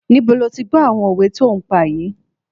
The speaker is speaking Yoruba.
Níbo lo ti gbọ́ àwọn òwe tí o ń pa yìí?